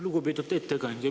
Lugupeetud ettekandja!